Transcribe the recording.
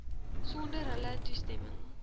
sonder hulle toestemming